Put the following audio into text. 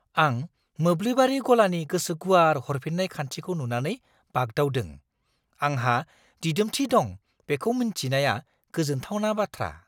आं मोब्लिबारि गलानि गोसो गुवार हरफिन्नाय खान्थिखौ नुनानै बागदावदों; आंहा दिदोमथि दं बेखौ मिन्थिनाया गोजोनथावना बाथ्रा।